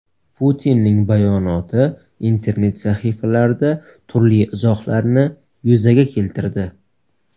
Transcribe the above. Putinning bayonoti internet sahifalarida turli izohlarni yuzaga keltirdi.